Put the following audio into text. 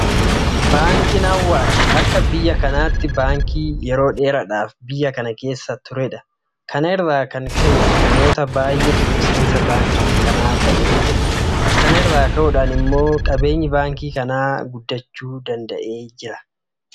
Baankiin Awaash akka biyya kanaatti baankii yeroo dheeraadhaaf biyya kana keessa turedha. Kana irraa kan ka'e namoota baay'eetu miseensa baankii kanaa ta'ee jira. Kana irraa ka'uudhaan immoo qabeenyi baankii kanaa guddachuu danda'eera.